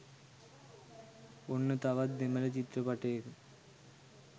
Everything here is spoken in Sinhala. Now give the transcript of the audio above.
ඔන්න තවත් දෙමල චිත්‍රපටයක